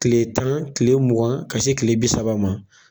kile tan kile mugan ka se kile bi saba ma